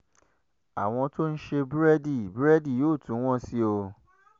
àwọn tó ń ṣe búrẹ́dì búrẹ́dì yóò tún wọ́n sí i o